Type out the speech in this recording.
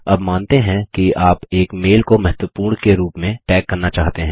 अब मानते हैं कि आप एक मेल को महत्वपूर्ण के रूप में टैग करना चाहते हैं